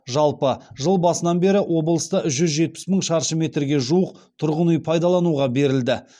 жалпы жыл басынан бері облыста жүз жетпіс мың шаршы метрге жуық тұрғын үй пайдалануға берілді